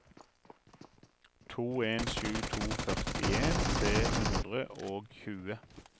to en sju to førtien tre hundre og tjue